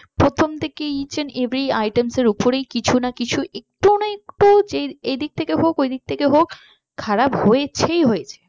প্রথম থেকেই each and every items এর ওপর এই কিছু না কিছু একটুও না একটু এই দিক থেকে হোক ওই দিক থেকে হোক খারাপ হয়েছেই হয়েছে।